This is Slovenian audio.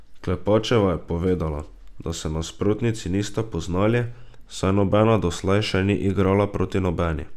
Klepačeva je povedala, da se nasprotnici nista poznali, saj nobena doslej še ni igrala proti nobeni.